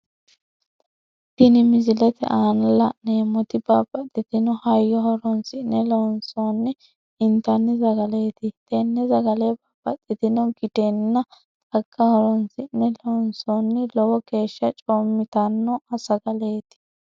Tinni misilete aanna la'neemoti babbaxitino hayo horoonsi'ne loonsoonni intanni sagaleeti tenne sagale babbaxitino gidenna xaga horoonsi'ne loonsoonni lowo geesha coomitanno sagaleeti.